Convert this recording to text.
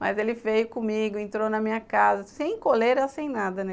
Mas ele veio comigo, entrou na minha casa, sem coleira, sem nada, né?